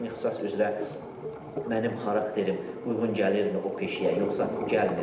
Həmin ixtisas üzrə mənim xarakterim uyğun gəlirmi o peşəyə yoxsa gəlmir.